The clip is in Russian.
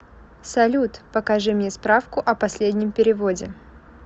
салют покажи мне справку о последнем переводе